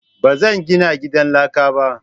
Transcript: Ba zan gina gidan laka ba.